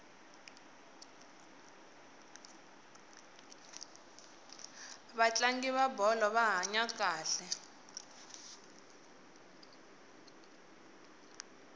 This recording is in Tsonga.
vatlangi va bolo va hanya kahle